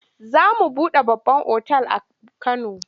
Za a buɗe babban otal a Kano.